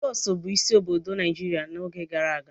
Lagos bụ isi obodo Naijiria n'oge gara aga.